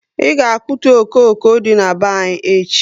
I ga akputu okooko dị na be anyị echi